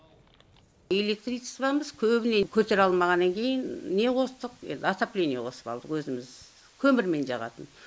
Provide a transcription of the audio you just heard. электричествомыз көбіне көтере алмағаннан кейін не қостық енді отопление қосып алдық өзіміз көмірмен жағатын